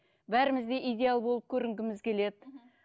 бәріміз де идеал болып көрінгіміз келеді мхм